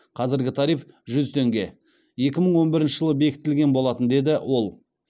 қазіргі тариф жүз теңге екі мың он бірінші жылы бекітілген болатын деді ол